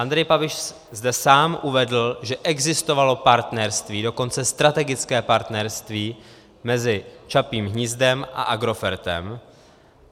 Andrej Babiš zde sám uvedl, že existovalo partnerství, dokonce strategické partnerství mezi Čapím hnízdem a Agrofertem.